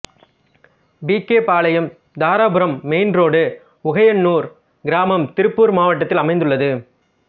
B K Palayam Dharapuram main road Ugaiyanur கிராமம் திருப்பூர் மாவட்டத்தில் அமைந்துள்ளது